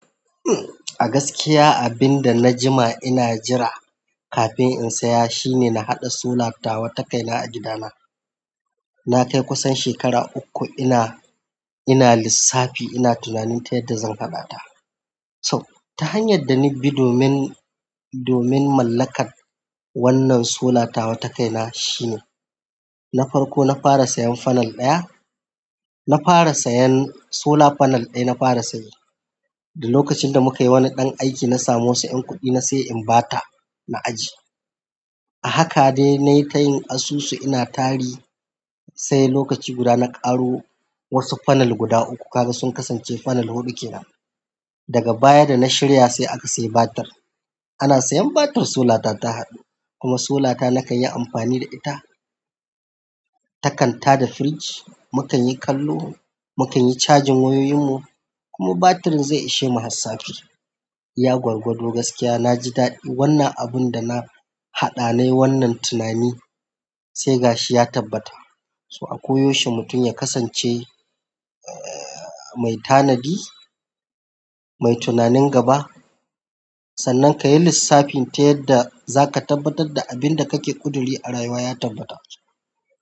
A gaskiya abinda najima ina jira kafin in saya shine nahaɗa sola tawa takaina a gidana. Nakai kusan shekara ukku ina lissafi ina tunanin ta yadda zan hadata. So ta hanyar da nabi domin, domin mallakar wannan sola tawa takaina shine, na farko na fara sayan fanal ɗaya. Na fara sayan sola fanal ɗaya na fara saye. Da lokacin da mukayi wani ɗan aiki nasamu wasu ƴan kuɗi nasai inbata na ajiye. Haka dai nayi tayin asusu ina tari sai lokaci guda na ƙaro wasu fanal guda uku. Kaga sun kasance fanal huɗu ke nan. Daga baya da na shirya sai aka sayi batar. Ana sayan batir solata ta haɗu kuma solata nakanyi amfani da ita. Takan tada firij, mu kanyi kallo, mu kanyi cajin wayoyin mu kuma batirin zai ishemu har safe. Iya gwargwado gaskiya naji daɗi. Wanna abunda nahaɗa nayi wannan tunani sai gashi ya tabbata. So a koyaushe mutum ya kasance, eh, mai tanadi, mai tunanin gaba sannan kayi lissafin ta yadda zaka tabbatar da abinda kake ƙuduri a rayuwa ya tabbata.